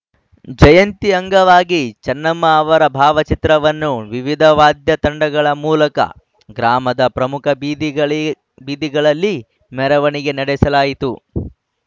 ಜಯಂತಿ ಅಂಗವಾಗಿ ಚನ್ನಮ್ಮ ಅವರ ಭಾವಚಿತ್ರವನ್ನು ವಿವಿಧ ವಾದ್ಯ ತಂಡಗಳ ಮೂಲಕ ಗ್ರಾಮದ ಪ್ರಮುಖ ಬೀದಿಗಲ್ಲಿ ಬೀದಿಗಳಲ್ಲಿ ಮೆರವಣಿಗೆ ನಡೆಸಲಾಯಿತು